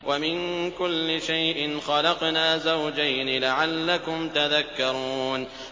وَمِن كُلِّ شَيْءٍ خَلَقْنَا زَوْجَيْنِ لَعَلَّكُمْ تَذَكَّرُونَ